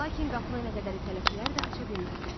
Lakin qapını nə qədər itələsələr də aça bilmədilər.